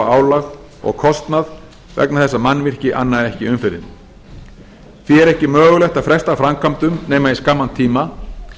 álag og kostnað vegna þess að mannvirki anna ekki umferðinni því er ekki mögulegt að fresta framkvæmdum nema í skamman tíma